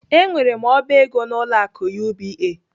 Enwere m oba ego n'ụlọ akụ UBA.